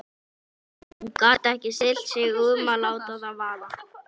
Hún gat ekki stillt sig um að láta það vaða.